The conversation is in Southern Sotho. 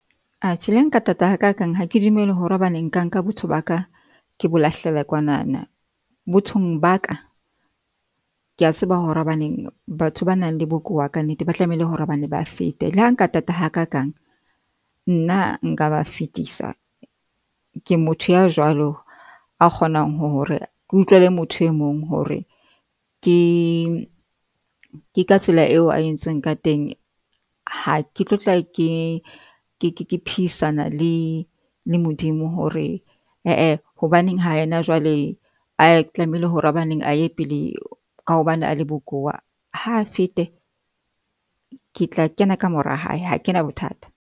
Atjhe le nka thata ha kakang ha ke dumele hore hobane nka nka botho ba ka ke bo lahlele kwanana. Bothong ba ka ke a tseba hore hobaneng batho ba nang le bokowa ka nnete ba tlamehile hore bona ba fete. Le ha nka tata ha kakang nna nka ba fetisa. Ke motho ya jwalo a kgonang ho hore ke utlwele motho e mong hore ke, ke ka tsela eo a entsweng ka teng. Ha ke tlo tla ke ke ke phihisana le le Modimo hore ee hobaneng ha yena jwale, a tlamehile hore hobaneng a ye pele ka hobane a le bokowa, ha fete ke tla kena ka mora hae ha kena bothata.